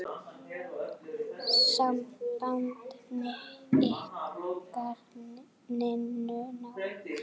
Samband ykkar Ninnu náið.